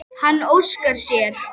Nú þyrfti hún að hlýða.